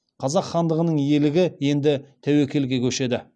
қазақ хандығының иелігі енді тәуекелге көшеді